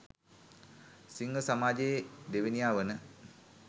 සිංහ සමාජයේ දෙවනියා වන